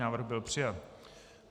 Návrh byl přijat.